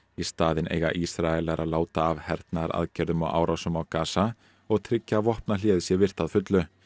í staðinn eiga Ísraelar að láta af hernaðaraðgerðum og árásum á Gaza og tryggja að vopnahléið sé virt að fullu